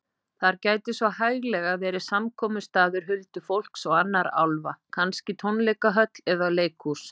Þar gæti svo hæglega verið samkomustaður huldufólks og annarra álfa, kannski tónleikahöll eða leikhús.